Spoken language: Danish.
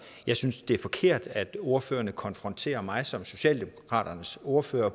jeg synes det er forkert at ordførerne konfronterer mig som socialdemokratiets ordfører